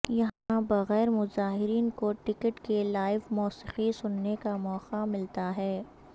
یہاں بغیرمظاہرین کو ٹکٹ کے لائیو موسیقی سننے کا موقع ملتا ہے